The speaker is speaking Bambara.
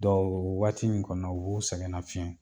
o waati in kɔnɔ u b'u sɛgɛn nafiɲɛ